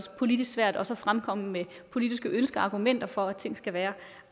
politisk svært også at fremkomme med politiske ønsker og argumenter for at ting skal være